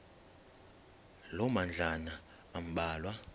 loo madlalana ambalwa